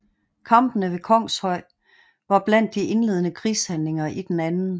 Kampene ved Kongshøj var blandt de indledende krigshandlinger i den 2